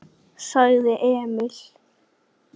sagði Emil.